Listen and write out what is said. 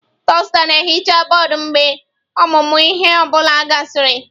Dusta na-ehicha bọọdụ mgbe ọmụmụ ihe ọ bụla gasịrị.